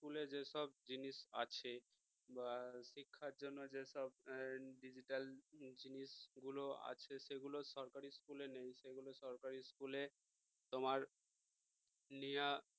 স্কুলের যেসব জিনিস আছে বা শিক্ষার জন্য যেসব digital জিনিস গুলো আছে সেগুলো সরকারি school এ নেই সেগুলো সরকারি school এ তোমার নিয়া